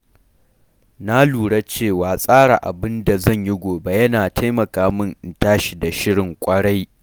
Na lura cewa tsara abin da zan yi gobe yana taimaka min in tashi da shirin kwarai.